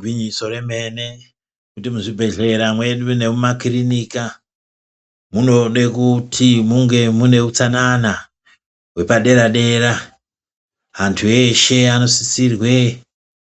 Gwinyiso remene kuti muzvibhedhleya mwedumwo nekumakirinika munode kuti munge mune utsanana hwepadera dera, antu eshe anosisirwe